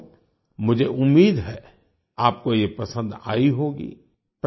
साथियो मुझे उम्मीद है आपको ये पसंद आई होगी